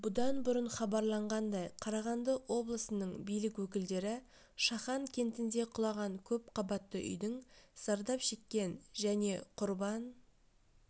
бұдан бұрын хабарланғандай қарағанды облысының билік өкілдері шахан кентінде құлаған көпқабатты үйдің зардап шеккен және құрбан